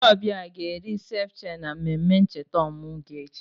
Ndị ọbịa a ga-eri seviche na mmemme ncheta ọmụmụ gị echi?